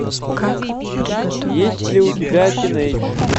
есть ли у тебя тинейдж